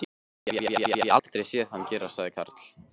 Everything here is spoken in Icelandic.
Það hef ég aldrei séð hann gera sagði Karl.